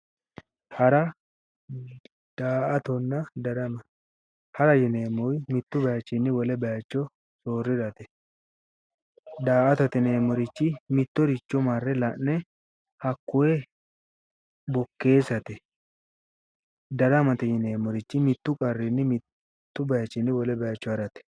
Hara, daa"attonna darama, hara yinneemmo woyte mitu bayichinni daraga soorirate ,daa"attate yineemmori mittoricho marre la'ne hakkoe bokkeessate ,datamate yinneemmoti mitu qarrinni mitu bayichinni wole bayicho harate